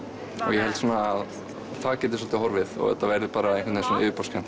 ég held að það geti soldið horfið og þetta verði yfirborðskennt